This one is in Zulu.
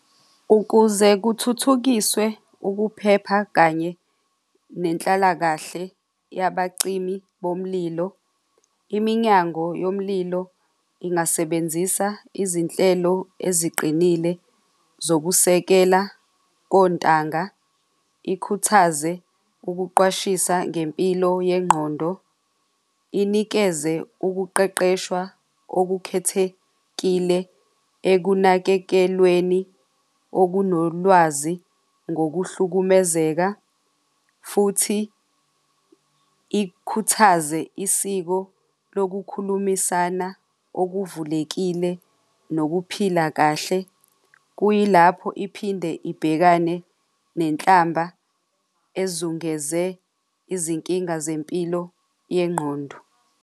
Ukuze kuthuthukiswe ukuphepha kanye nenhlalakahle yabacimi bomlilo, iminyango yomlilo ingasebenzisa izinhlelo eziqinile zokusekela kontanga, ikhuthaze ukuqwashisa ngempilo yengqondo, inikeze ukuqeqeshwa okukhethekile ekunakekelweni okunolwazi ngokuhlukumezeka futhi ikhuthaze isiko lokukhulumisana okuvulekile nokuphila kahle. Kuyilapho iphinde ibhekane nenhlamba ezungeze izinkinga zempilo yengqondo.